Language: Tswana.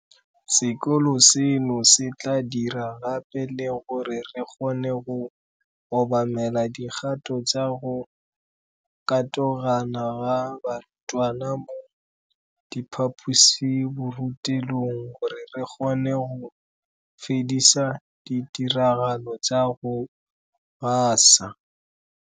Sekolo seno se tla dira gape le gore re kgone go obamela dikgato tsa go katogana ga barutwana mo diphaposiborutelong gore re kgone go fedisa ditiragalo tsa go gasa